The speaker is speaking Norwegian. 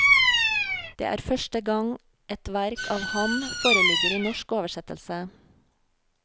Det er første gang et verk av ham foreligger i norsk oversettelse.